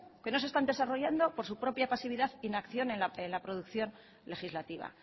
que no se están desarrollando por su propia pasividad e inacción en la producción legislativa